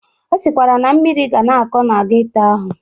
Ọ sịkwara na mmiri ga na-akọ na geto ahụ.